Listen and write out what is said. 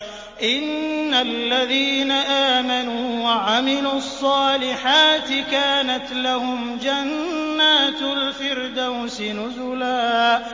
إِنَّ الَّذِينَ آمَنُوا وَعَمِلُوا الصَّالِحَاتِ كَانَتْ لَهُمْ جَنَّاتُ الْفِرْدَوْسِ نُزُلًا